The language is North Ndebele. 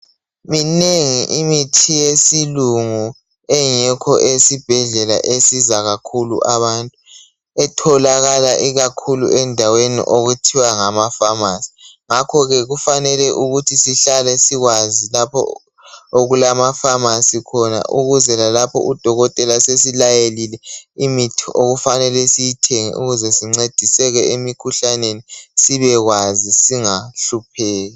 Minengi imithi yesilungu ekho esibhedlela esiza kakhulu abantu etholakala ikakhulu endaweni okuthiwa ngamafamasi nggakho ke kumele sibe kwazi lapha okulamafamasi khona ukuze lalaoha udokotela sesilayelile imithi okufanele siyithenge ukuze sisindiseke emkhuhlaneni sibekwazi singahlupheki